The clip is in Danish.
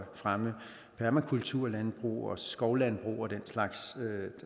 fremme permakulturlandbrug og skovlandbrug og den slags